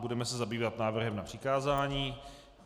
Budeme se zabývat návrhem na přikázání.